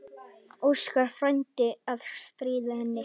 Óskar frændi að stríða henni.